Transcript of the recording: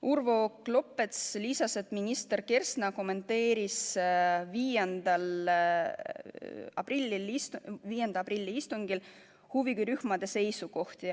Urvo Klopets lisas, et minister Kersna kommenteeris 5. aprilli istungil huvirühmade seisukohti.